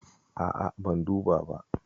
A'a ban duba ba.